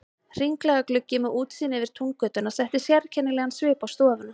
Hringlaga gluggi með útsýni yfir Túngötuna setti sérkennilegan svip á stofuna.